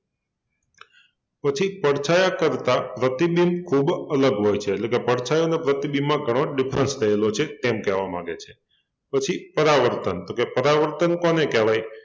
પછી પડછાયા કરતાં પ્રતિબિંબ ખૂબ અલગ હોય છે એટલે કે પડછાયો અને પ્રતિબિંબમાં ઘણો difference રહેલો છે તેમ કહેવા માંગે છે પછી પરાવર્તન તો કે પરાવર્તન કોને કહેવાય?